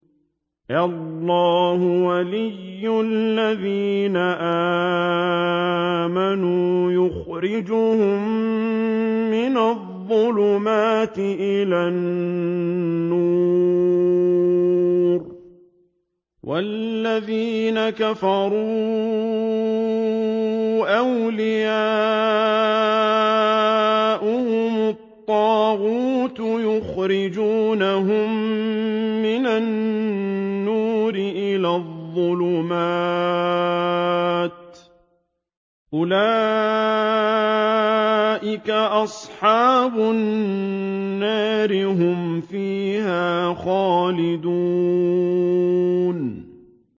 اللَّهُ وَلِيُّ الَّذِينَ آمَنُوا يُخْرِجُهُم مِّنَ الظُّلُمَاتِ إِلَى النُّورِ ۖ وَالَّذِينَ كَفَرُوا أَوْلِيَاؤُهُمُ الطَّاغُوتُ يُخْرِجُونَهُم مِّنَ النُّورِ إِلَى الظُّلُمَاتِ ۗ أُولَٰئِكَ أَصْحَابُ النَّارِ ۖ هُمْ فِيهَا خَالِدُونَ